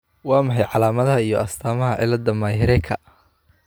Waa maxay calaamadaha iyo astaamaha cilada Myhreka ?